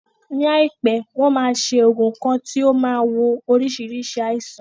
Ní àìpé, wọn máa ṣe oògùn kan tí ó máa wo oríṣiríṣi aisan